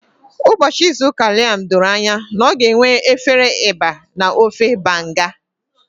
Ụbọchị izu ụka Liam doro anya na ọ ga-enwe efere eba na ofe Banga.